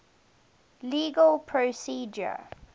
legal procedure